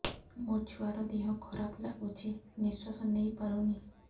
ମୋ ଛୁଆର ଦିହ ଖରାପ ଲାଗୁଚି ନିଃଶ୍ବାସ ନେଇ ପାରୁନି